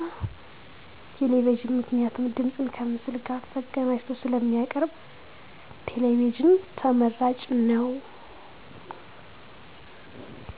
ቴሌቪዥን ምክንያቱም ድምፅን ከምስል ጋር አቀናጅቶ ስለሚያቀርብ ተመራጭ ነው።